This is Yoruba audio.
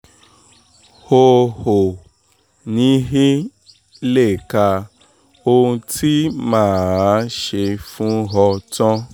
o ò ní í lè ka ohun tí mà á ṣe fún ọ tán